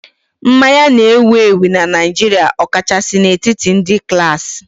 Mmanya na-ewu ewu na Naịjirịa, ọkachasị n'etiti ndị klaasị